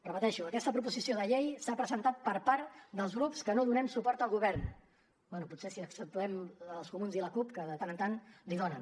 repeteixo aquesta proposició de llei s’ha presentat per part dels grups que no donem suport al govern bé potser si exceptuem els comuns i la cup que de tant en tant li’n donen